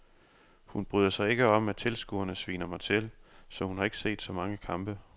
Hun bryder sig ikke om at tilskuerne sviner mig til, så hun har ikke set så mange kampe.